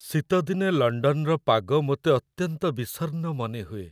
ଶୀତଦିନେ ଲଣ୍ଡନର ପାଗ ମୋତେ ଅତ୍ୟନ୍ତ ବିଷର୍ଣ୍ଣ ମନେହୁଏ।